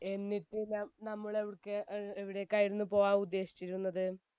എന്നിട്ട് നമ്മൾ അന്ന് എവിടേയ്ക്കായിരുന്നു പോകാൻ ഉദ്ദേശിച്ചിരുന്നത്?